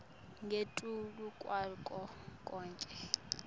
ngetulu kwako konkhe